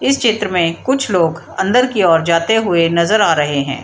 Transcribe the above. इस चित्र में कुछ लोग अंदर की ओर जाते हुए नजर आ रहे हैं।